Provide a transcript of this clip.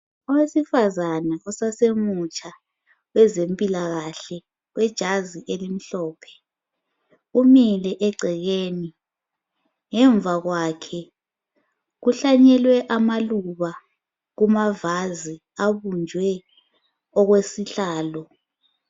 Owesifazana usasemutsha kwezempilakahle wejazi ijazi elimhlophe umile egcekeni ngemva kwakhe kuhlanyelwe amaluba kumavazi abunjwe okwesihlalo.